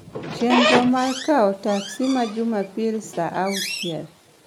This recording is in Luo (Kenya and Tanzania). chenro ma kawo teksi ma jumapil saa auchiel